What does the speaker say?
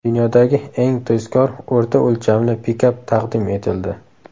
Dunyodagi eng tezkor o‘rta o‘lchamli pikap taqdim etildi.